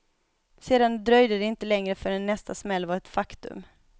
Sedan dröjde det inte länge förrän nästa smäll var ett faktum.